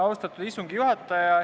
Austatud istungi juhataja!